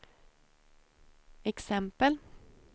exempel